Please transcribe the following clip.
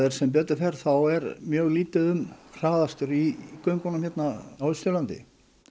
sem betur fer er mjög lítið um hraðakstur í göngunum hérna á Austurlandi